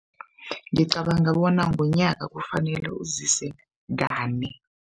Ngicabanga bona ngonyaka kufanele uzise kane.